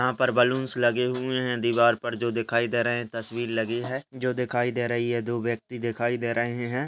यहाँ पर बलूनस लगे हुए हैं दीवार पर जो दिखाई दे रहे हैं तस्वीर लगी है जो दिखाई दे रही है दो व्यक्ति दिखाई दे रहे हैं।